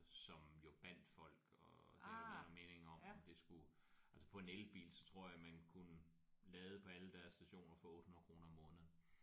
Som jo bandt folk og det er der mange meninger om det skulle altså på en elbil så tror jeg man kunne lade på alle deres stationer for 800 kroner om måneden